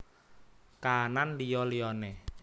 Kaanan Liya liyane